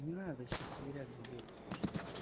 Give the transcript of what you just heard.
не надо сейчас сивиряк зайдёт слышишь да